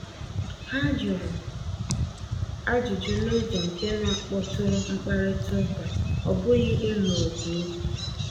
Ha jụrụ ajụjụ n’ụzọ nke na-akpọtụrụ mkparịta ụka, ọ bụghị ịlụ ọgụ okwu.